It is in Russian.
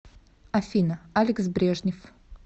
афина алекс брежнев